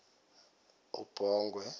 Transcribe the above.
ubongwe